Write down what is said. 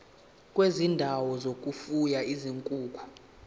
kwezindawo zokufuya izinkukhu